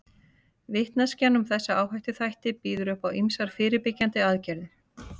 Vitneskjan um þessa áhættuþætti býður upp á ýmsar fyrirbyggjandi aðgerðir.